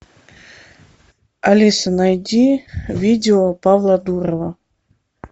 алиса найди видео павла дурова